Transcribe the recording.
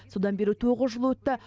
содан бері тоғыз жыл өтті